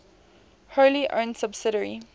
wholly owned subsidiary